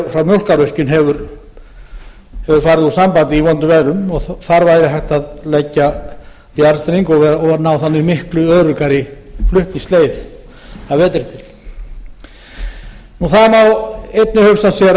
í mjólkárvirkjun hefur farið úr sambandi í vondum veðrum og þar væri hægt að leggja jarðstreng og ná þannig miklu öruggari flutningsleið að vetri til það má einnig hugsa sér að sums